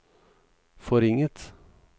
forringet